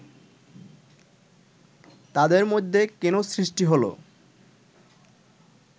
তাঁদের মধ্যে কেন সৃষ্টি হলো